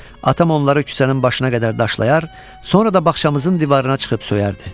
atam onları küçənin başına qədər daşlayar, sonra da baxçamızın divarına çıxıb söyərdi.